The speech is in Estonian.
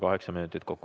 Kaheksa minutit kokku.